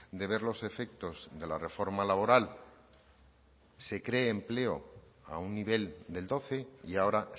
de ver los efectos de la reforma laboral se cree empleo a un nivel del doce y ahora